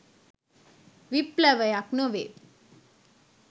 විප්ලවයක් නොවේ